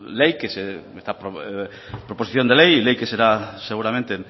ley proposición de ley ley que será seguramente